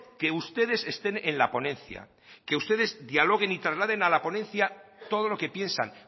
que ustedes estén en la ponencia que ustedes dialoguen y trasladen a la ponencia todo lo que piensan